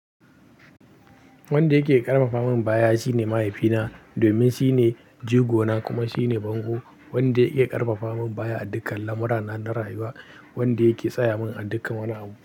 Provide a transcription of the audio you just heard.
Wanda yake ƙarfafa min baya shine mahaifina domin shine jigo na kuma shine bango. Wanda ya iya ƙarfafa min baya a dukkan lamurana na rayuwa. Wanda yake tsaya min a dukkan wani abu.